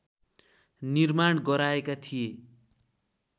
निर्माण गराएका थिए।